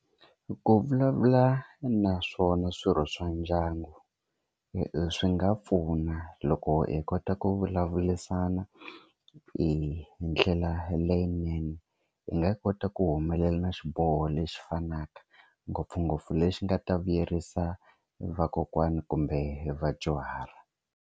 Ku vulavula na swona swirho swa ndyangu hi swi nga pfuna loko hi kota ku vulavurisana hi ndlela leyinene hi nga kota ku humelela xiboho lexi fanaka ngopfungopfu lexi nga ta vuyerisa vakokwana kumbe vadyuhari.